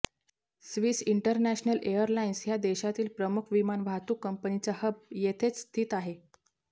Swiss International Airlines ह्या देशातील प्रमुख विमान वाहतूक कंपनीचा हब येथेच स्थित आहे